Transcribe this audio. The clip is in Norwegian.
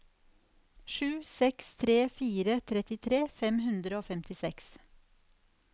sju seks fire tre trettitre fem hundre og femtiseks